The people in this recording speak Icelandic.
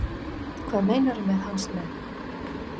Hvað meinarðu með hans menn?